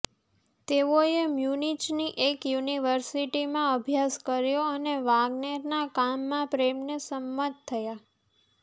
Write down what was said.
તેઓએ મ્યૂનિચની એક જ યુનિવર્સિટીમાં અભ્યાસ કર્યો અને વાગ્નેરના કામના પ્રેમને સંમત થયા